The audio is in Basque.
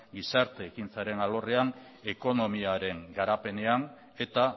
gizarte ekintzaren alorrean ekonomiaren garapenean eta